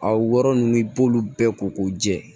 A wɔrɔ nunnu i b'olu bɛɛ ko k'u jɛ